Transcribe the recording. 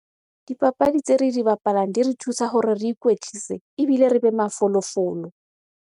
Dipapadi tse re di bapalang di re thusa hore re ikwetlise ebile re be mafolofolo.